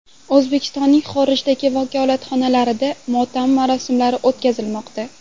O‘zbekistonning xorijdagi vakolatxonalarida motam marosimlari o‘tkazilmoqda.